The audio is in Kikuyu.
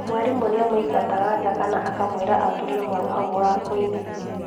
Mwarimu nĩamũingataga njakana akamwĩra aturie maru hau mũrangoinĩ